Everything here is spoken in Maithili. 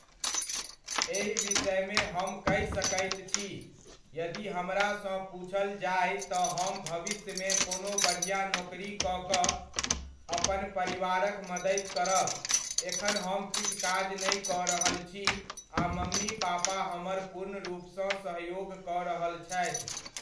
एहि विषयमे हम कहि सकैत छी, यदि हमरा सॅं पुछल जाय तऽ हम भविष्यमे कोनो बढ़िऑं नौकरी कऽ कऽ अपन परिवारक मदति करब, एखन हम किछु काज नहि कऽ रहल छी आ मम्मी पापा हमर पुर्णरुपसँ सहयोग कऽ रहल छथि।